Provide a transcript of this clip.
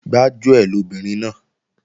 Gbájúẹ̀ lobìnrin náà